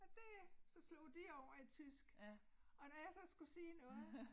Og det så slog de over i tysk og når jeg så skulle sige noget